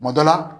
Kuma dɔ la